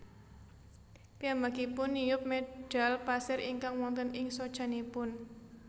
Piyambakipun niup medhal pasir ingkang wonten ing socanipun